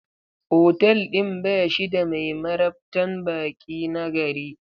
Otal ɗin ba shi da mai marabtan baƙi nagari.